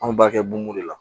An b'a kɛ bun de la